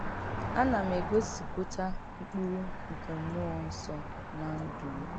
Ànà m̀ ègòsìpùtà m̀kpúrù nkè M̀múọ̀ Nsọ̀ ná ǹdú m̀?